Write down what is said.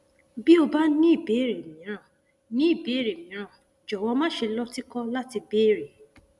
bí o bá ní ìbéèrè mìíràn ní ìbéèrè mìíràn jọwọ máṣe lọtìkọ láti béèrè